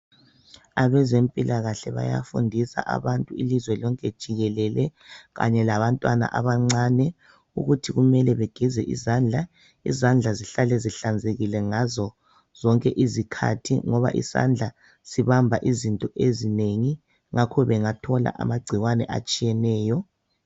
Abezempilakahle bayafundisa abantu, ilizwe lonke jikelele, kanye labantwana abancane. Ukuthi kumele begeze izandla. Izandla zihlale zihlanzelile, ngazo zonke izikhathi ngoba izandla zibamba izinto ezinengi, ngakho bangathola amagcikwane, atshiyeneyo